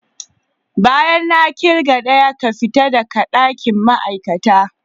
Bayan na kirga daya ka fita daga dakin ma'aikata.